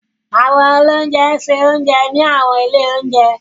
Àwọn oloúnjẹ ń ṣe oúnjẹ ní àwọn ilé oúnjẹ.